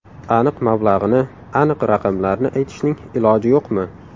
Aniq mablag‘ini, aniq raqamlarni aytishning iloji yo‘qmi?